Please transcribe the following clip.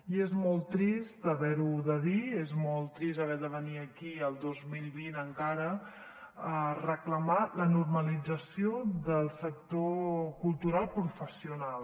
i és molt trist haver ho de dir és molt trist haver de venir aquí el dos mil vint encara a reclamar la normalització del sector cultural professional